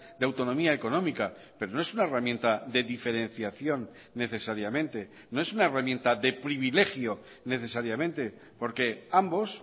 de autonomía económica pero no es una herramienta de diferenciación necesariamente no es una herramienta de privilegio necesariamente porque ambos